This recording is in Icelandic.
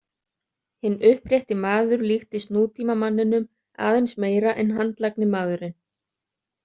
Hinn upprétti maður líktist nútíma manninum aðeins meira en handlagni maðurinn.